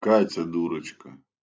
катя дурочка